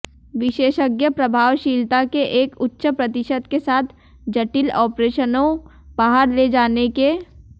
विशेषज्ञ प्रभावशीलता के एक उच्च प्रतिशत के साथ जटिल आपरेशनों बाहर ले जाने के